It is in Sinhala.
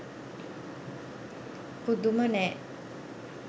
පුදුම නෑ